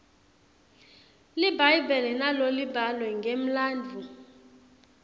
libhayibheli nalo libhalwe ngemlandvo